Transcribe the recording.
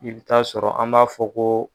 I bi taaa sɔrɔ an b'a fɔ ko